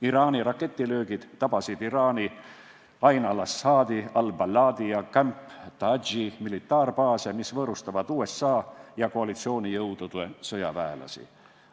Iraani raketilöögid tabasid Iraagi Ain-al Asadi, Al-Baladi ja Camp Taji militaarbaase, mis võõrustavad USA ja koalitsioonijõudude sõjaväelasi.